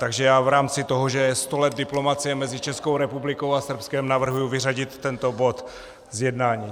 Takže já v rámci toho, že je sto let diplomacie mezi Českou republikou a Srbskem, navrhuji vyřadit tento bod z jednání.